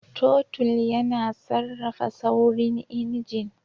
Totul yana sarrafa saurin injin.